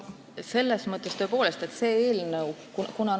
Selles mõttes on sellest eelnõust tõepoolest abi.